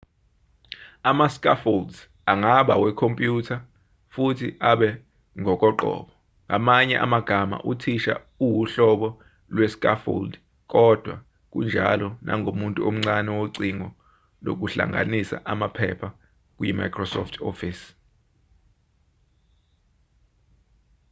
ama-scaffolds angaba wekhompyutha futhi abe ngokoqobo ngamanye amagama uthisha uwuhlobo lwe-scaffold kodwa kunjalo nangomuntu omncane wocingo lokuhlanganisa amaphepha kuyi-microsoft office